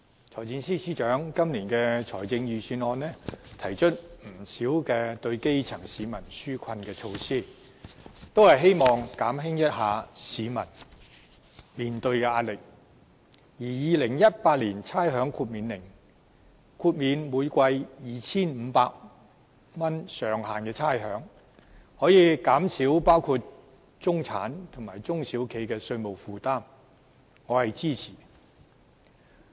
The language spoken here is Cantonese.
財政司司長今年的財政預算案提出不少對基層市民紓困的措施，希望減輕市民面對的壓力，而《2018年差餉令》豁免每季上限 2,500 元的差餉，可以減少包括中產人士和中小型企業的稅務負擔，我是支持的。